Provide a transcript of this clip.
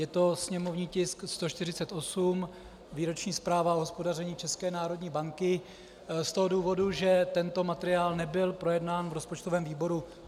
Je to sněmovní tisk 148 - Výroční zpráva o hospodaření České národní banky, z toho důvodu, že tento materiál nebyl projednán v rozpočtovém výboru.